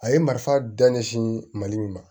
A ye marifa da ɲɛsin ma mali min ma